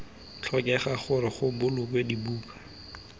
tlhokega gore go bolokwe dibuka